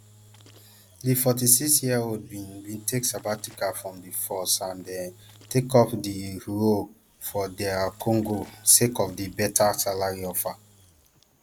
di forty-sixyearold bin bin take sabbatical from di force and um take up di role for dr congo sake of di beta salary offer